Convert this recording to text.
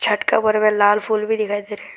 लटका हुआ और लाल फूल भी दिखाई दे रहा--